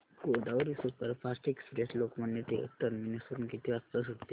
Godavari superfast express Lokmanya Tilak terminus वरून किती वाजता सुटते